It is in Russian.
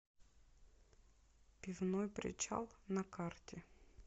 пивной причал на карте